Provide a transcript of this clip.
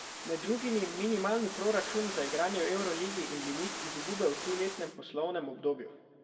Med drugimi minimalni proračun za igranje v evroligi in limit izgube v triletnem poslovnem obdobju.